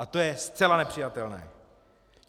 A to je zcela nepřijatelné.